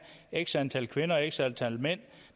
x antal kvinder og x antal mænd